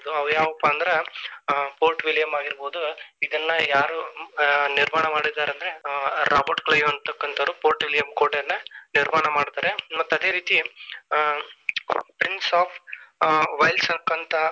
ಅವು ಯಾವಪಾ ಅಂದ್ರ ಆ Fort William ಆಗಿರಬಹುದು ಇದೆಲ್ಲಾ ಯಾರು ಆ ನಿರ್ಮಾಣ ಮಾಡಿದ್ದಾರೆ ಅಂದ್ರೆ ಆ Robert Clive ಅನ್ನತಕ್ಕಂತವರು Fort William ಕೋಟೆಯನ್ನ ನಿರ್ಮಾಣ ಮಾಡ್ತಾರೆ ಮತ್ತ ಅದೇ ರೀತಿ ಹ್ಮ್‌ rings of .